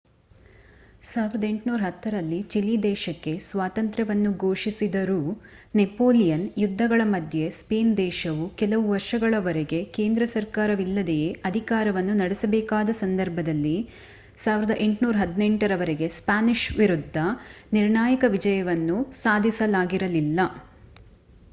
1810 ರಲ್ಲಿ ಚಿಲಿ ದೇಶಕ್ಕೆ ಸ್ವಾತಂತ್ರ್ಯವನ್ನು ಘೋಷಿಸಿದರೂ ನೆಪೋಲಿಯನ್ ಯುದ್ಧಗಳ ಮಧ್ಯೆ ಸ್ಪೇನ್ ದೇಶವು ಕೆಲವು ವರ್ಷಗಳವರೆಗೆ ಕೇಂದ್ರ ಸರ್ಕಾರವಿಲ್ಲದೆಯೇ ಅಧಿಕಾರವನ್ನು ನಡೆಸಬೇಕಾದ ಸಂದರ್ಭದಲ್ಲಿ 1818 ರವರೆಗೆ ಸ್ಪ್ಯಾನಿಷ್ ವಿರುದ್ಧ ನಿರ್ಣಾಯಕ ವಿಜಯವನ್ನು ಸಾಧಿಸಲಾಗಿರಲಿಲ್ಲ